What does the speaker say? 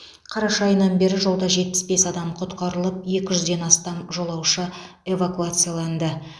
қараша айынан бері жолда жетпіс бес адам құтқарылып екі жүзден астам жолаушы эвакуацияланды